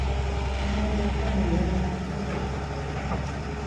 tinye cheptanyuu kenyishek somok